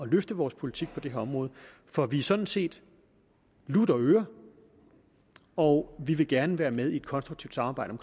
løfte vores politik på det her område for vi er sådan set lutter øren og vi vil gerne være med i et konstruktivt samarbejde